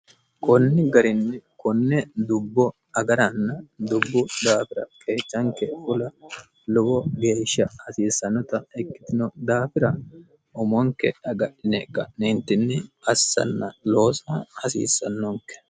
konni garinni konne dubbo agaranna dubbu daafira qeechanke fula lowo geeshsha hasiissannota ikkitino daafira umonke agadhine ka'neentinni assanna loosa hasiissannonke.